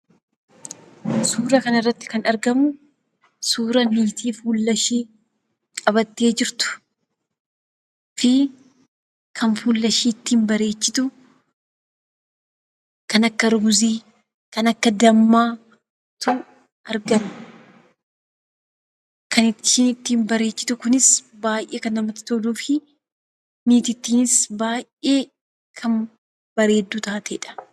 Suuraa kana irratti kan arginu suuraa dubartii fuulaa ishee qabattee jirtuu dha. Akkasumas kan fuula ishee ittiin bareechattu kan akka ruuzii, dammaa arganna. Dubartiin kunis kan baayyee miidhagduu dha.